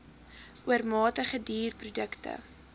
oormatige duur produkte